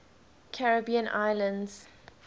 caribbean islands